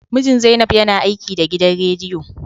Mijin Zainab yana aiki da gidan rediyo